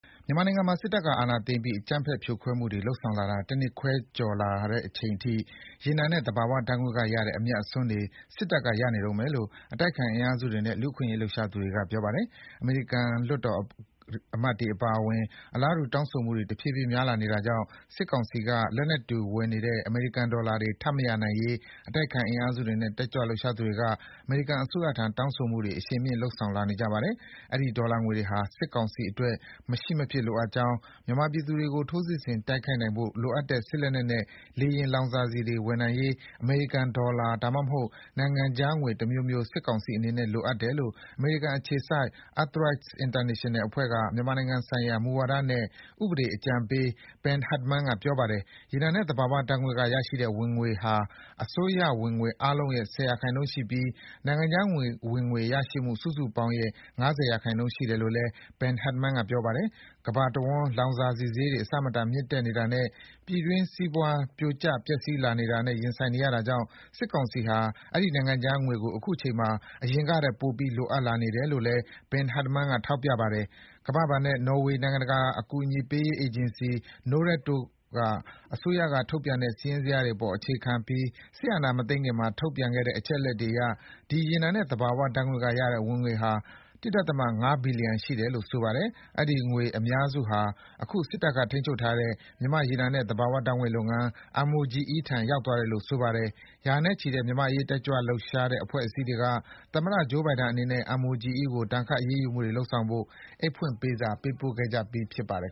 မြန်မာနိုင်ငံမှာ စစ်တပ်က အာဏာသိမ်းပြီး အကြမ်းဖက်ဖြိုခွဲမှုတွေ လုပ်ဆောင်လာတာ တနှစ်ခွဲကျော် ကြာလာတဲ့အချိန်ထိ ရေနံနဲ့ သဘာဝဓါတ်ငွေ့ကရတဲ့ အမြတ်အစွန်းတွေ စစ်တပ်က ရနေတုန်းပဲလို့ အတိုက်အခံ အင်အားစုတွေနဲ့ လူ့အခွင့်အရေး လှုပ်ရှားသူတွေက ပြောပါတယ်။ အမေရိကန် လွှတ်တော်အမတ်တွေကပါ အလားတူ တောင်းဆိုမှုတွေ တဖြည်းဖြည်း များလာနေတာကြောင့် စစ်ကောင်စီက လက်နက်တွေဝယ်နေတဲ့ အမေရိကန်ဒေါ်လာတွေ ထပ်မရနိုင်ရေး အတိုက်အခံအင်အားစုတွေနဲ့ တက်ကြွလှုပ်ရှားသူတွေက အမေရိကန်အစိုးရထံ တောင်းဆိုမှုတွေ အရှိန်မြှင့် လုပ်ဆောင်လာနေကြပါတယ်။ အဲဒီ ဒေါ်လာငွေတွေဟာ စစ်ကောင်စီအတွက် မရှိမဖြစ်လိုအပ်ကြောင်း၊ မြန်မာပြည်သူတွေကို ထိုးစစ်ဆင်တိုက်ခိုက်နိုင်ဖို့ လိုအပ်တဲ့ စစ်လက်နက်နဲ့ လေယာဉ် လောင်စာဆီတွေ ဝယ်နိုင်ရေး အမေရိကန်ဒေါ်လာ၊ ဒါမှမဟုတ် နိုင်ငံခြားငွေတမျိုးမျိုး စစ်ကောင်စီအနေနဲ့လိုအပ်တယ်လို့ အမေရိကန်အခြေစိုက် EarthRights International အဖွဲ့က မြန်မာနိုင်ငံဆိုင်ရာ မူဝါဒနဲ့ ဥပဒေအကြံပေး Ben Hardman က ပြောပါတယ်။ ရေနံနဲ့ သဘာဝဓါတ်ငွေ့ကရတဲ့ဝင်ငွေဟာ အစိုးရဝင်ငွေအားလုံးရဲ့ ၁၀% ရှိပြီး နိုင်ငံခြားဝင်ငွေရရှိမှုစုစုပေါင်းရဲ့ ၅၀% ရှိတယ်လို့ Ben Hardman က ပြောပါတယ်။ ကမ္ဘာတဝန်း လောင်စာဆီဈေးတွေ အဆမတန် မြင့်တက်နေတာနဲ့ ပြည်တွင်းစီးပွား ပြိုကျ ပျက်စီးလာနေတာနဲ့ ရင်ဆိုင်နေရတာကြောင့် စစ်ကောင်စီဟာ အဲဒီ နိုင်ငံခြားငွေကို အခုချိန်မှာ အရင်ကထက် ပိုပြီး လိုအပ်လာနေတယ်လို့ Ben Hardman က ထောက်ပြပါတယ်။ ကမ္ဘာဘဏ်နဲ့ နော်ဝေးနိုင်ငံတကာအကူအညီပေးရေး အေဂျင်စီ Norad တို့က အစိုးရကထုတ်ပြန်တဲ့ စာရင်းဇယားတွေအပေါ် အခြေခံပြီး စစ်အာဏာမသိမ်းခင်မှာ ထုတ်ပြန်တဲ့ အချက်အလက်တွေအရ ဒီ ရေနံနဲ့ သဘာဝဓါတ်ငွေ့ကရတဲ့ဝင်ငွေဟာ ၁.၅ ဘီလီယံရှိတယ်လို့ ဆိုပါတယ်။ အဲဒီငွေ အများစုဟာ အခု စစ်တပ်ကထိန်းချုပ်ထားတဲ့ မြန်မာ့ရေနံနဲ့ သဘာဝဓါတ်ငွေ့လုပ်ငန်း MOGE ထံ ရောက်သွားတယ်လို့ ဆိုပါတယ်။ ရာနဲ့ချီတဲ့ မြန်မာ့အရေး တက်ကြွလှုပ်ရှားတဲ့ အဖွဲ့အစည်းတွေက သမ္မတ Joe Biden အနေနဲ့ MOGE ကို ဒဏ်ခတ် အရေးယူမှုတွေလုပ်ဆောင်ဖို့ အိတ်ဖွင့်ပေးစာ ပေးပို့ခဲ့ကြပြီး ဖြစ်ပါတယ်